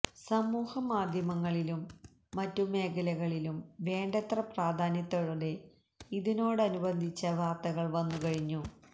സമൂഹമാധ്യമങ്ങളിലും മറ്റു മേഖലകളിലും വേണ്ടത്ര പ്രാധാന്യത്തോടെ ഇതിനോടനുബന്ധിച്ച വാർത്തകൾ വന്നു കഴിഞ്ഞു